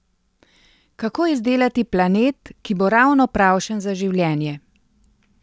Kako izdelati planet, ki bo ravno pravšen za življenje?